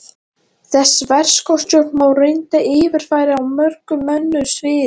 Þessa verkstjórn má reyndar yfirfæra á mörg önnur svið.